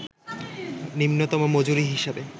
নিম্নতম মজুরি হিসাবে